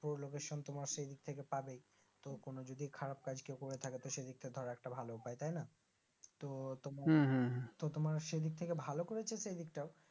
পুরো Location তোমার সেই দিক থেকে পাবেই তো কোনো যদি খারাব কাজ কেউ করে থাকে তো সেদিকটা ধরো একটা ভালো উপায় তাইনা তো উম হম হম তো তোমার সেদিক থেকে ভালো করেছে সে দিকটাও